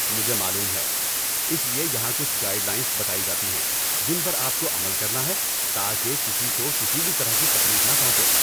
مجھے معلوم ہے۔ اس لیے یہاں کچھ گائیڈ لائنز بتائی جاتی ہیں جن پر آپ کو عمل کرنا ہے تاکہ کسی کو کسی بھی طرح کی تکلیف نہ پہنچے۔